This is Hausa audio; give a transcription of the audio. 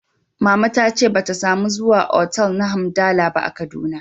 Mama ta ce ba ta samu zuwa otal na hamdala ba a Kaduna